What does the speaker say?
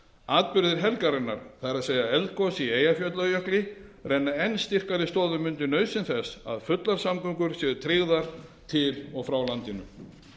atburðir helgarinnar það er eldgos í eyjafjallajökli renna enn styrkari stoðum undir nauðsyn þess að fullar samgöngur séu tryggðar til og frá landinu